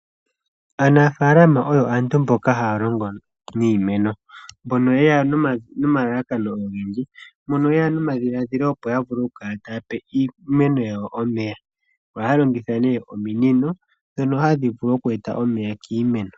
Aanafalama oyo aantu mboka haya longo niimeno. Mbono yeya noma lalakano ogendji no yeya nomadhiladhilo opo ya kale taya pe iimeno yawo omeya. Oha longitha nee ominino dhonoa hadhi vulu oku eta omeya kiimeno.